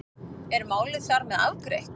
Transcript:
Er málið þar með afgreitt?